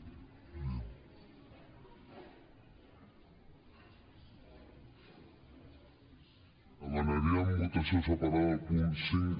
demanaríem votació separada del punt cinc